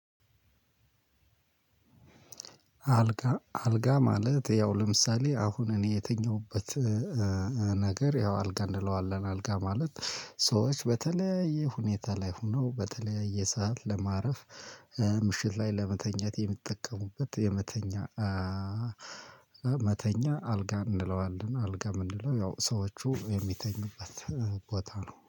አልጋ ማለት ያው ለምሳሌ አሁን እኔ የተኛሁበት ነገር ያው አልጋ እንለዋለን። አልጋ ማለት ሰዎች በተለያየ ሁኔታ ላይ ሆነው በተለያየ ሰዓት ለማረፍ ምሽት ላይ ለመተኛት የሚጠቀሙበት የመተኛ መተኛ አልጋ እንለዋለን። አልጋ ምንለነው ያው ሰዎቹ የሚተኙበት ቦታ ነው።